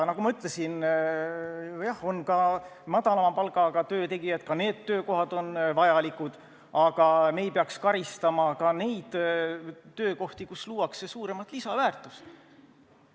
Nagu ma ütlesin, jah, on ka madalama palgaga töötegijaid, ka need töökohad on vajalikud, aga me ei peaks karistama ka nendel töökohtadel töötajaid, kus luuakse suuremat lisandväärtust.